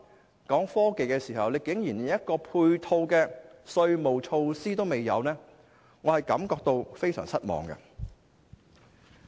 現在談到創新科技，政府竟然連配套稅務措施也沒有，令我感到非常失望。